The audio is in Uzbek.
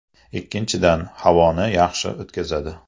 Ikkinchidan, havoni yaxshi o‘tkazadi.